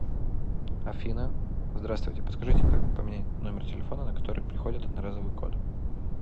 афина здравствуйте подскажите как поменять номер телефона на который приходит одноразовый код